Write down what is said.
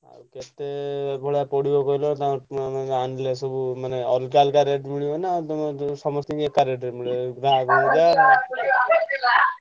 କେତେ ଭଡା ପଡିବ କହିଲ ତାଙ୍କର ମାନେ ଆଣିଲେ ସବୁ ମାନେ ଅଲଗା ଅଲଗା rate ମିଳିବ ନା ତମର ଯୋଉ ସମସ୍ତଙ୍କୁ ଏକା rate ରେ ମିଳିବ?